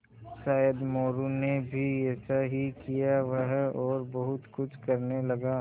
शायद मोरू ने भी ऐसा ही किया वह और बहुत कुछ करने लगा